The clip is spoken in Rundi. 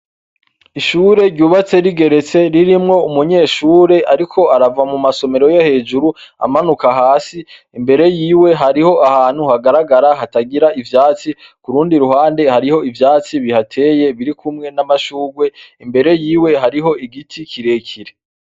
Ishure ryubatse rigeretse, ririmwo umunyeshure ariko arava mu masomero yo hejuru, amanuka hasi. Imbere y'iwe hariho ahantu hagaragara hatagira ivyatsi, kurundi ruhande, hariho ivyatsi bihateye biri kumwe n'amashurwe, imbere yiwe hariho igiti kirekire.